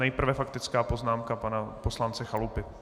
Nejprve faktická poznámka pana poslance Chalupy.